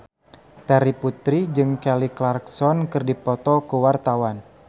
Terry Putri jeung Kelly Clarkson keur dipoto ku wartawan